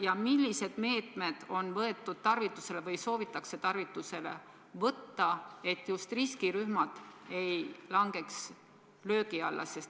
Ja milliseid meetmeid on võetud tarvitusele või soovitakse tarvitusele võtta, et just riskirühmad ei langeks löögi alla?